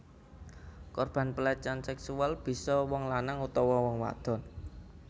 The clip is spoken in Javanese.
Korban pelecehan seksual bisa wong lanang utawa wong wadon